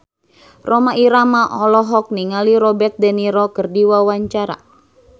Rhoma Irama olohok ningali Robert de Niro keur diwawancara